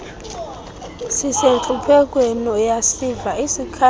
sisentluphekweni uyasiva isikhalo